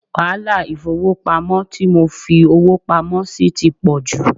Wàhálà ifowopamo tí mo fi owó pamó sì ti pò jù.